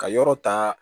Ka yɔrɔ ta